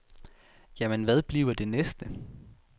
Jamen hvad bliver det næste?